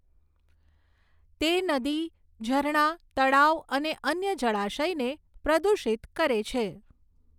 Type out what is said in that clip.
તે નદી, ઝરણા, તળાવ અને અન્ય જળાશયને પ્રદૂષિત કરે છે.